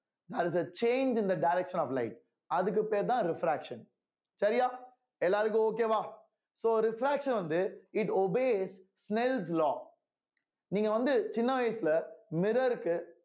as a change in the direction of life அதுக்கு பேர்தான் refraction சரியா எல்லாருக்கும் okay வா so refraction வந்து it obeys smells law நீங்க வந்து சின்ன வயசுல mirror க்கு